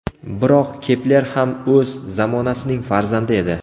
Biroq Kepler ham o‘z zamonasining farzandi edi.